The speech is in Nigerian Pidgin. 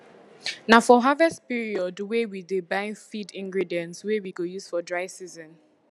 na for harvest periodwey we dey buy feed ingredients wey we go use for dry season